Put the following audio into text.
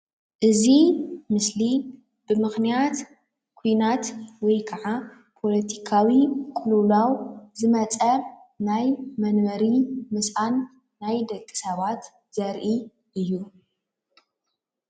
እዚ ምስሊ ብምክንያት ኩናት ወይ ከዓ ፖለቲካዊ ቅልውላል ዝመፀ ናይ መንበሪ ምስኣን ናይ ደቂ ሰባት ዘርኢ እዩ ፡፡